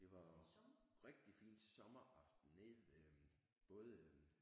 Det var rigtig fin sommeraften nede ved både